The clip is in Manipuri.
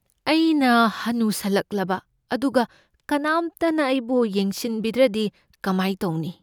ꯑꯩꯅ ꯍꯅꯨꯁꯜꯂꯛꯂꯕ ꯑꯗꯨꯒ ꯀꯅꯥꯝꯇꯅ ꯑꯩꯕꯨ ꯌꯦꯡꯁꯤꯟꯕꯤꯗ꯭ꯔꯗꯤ ꯀꯃꯥꯏ ꯇꯧꯅꯤ?